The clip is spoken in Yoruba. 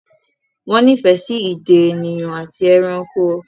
Wọ́n nífẹ̀ẹ́ sí ìdè ènìyàn àti ẹranko.